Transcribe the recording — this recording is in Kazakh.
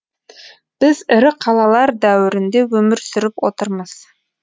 біз ірі қалалар дәуірінде өмір сүріп отырмыз